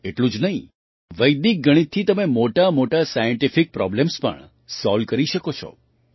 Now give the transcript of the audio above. એટલું જ નહીં વૈદિક ગણિતથી તમે મોટાંમોટાં સાયન્ટિફિક પ્રૉબ્લેમ્સ પણ સૉલ્વ કરી શકો છો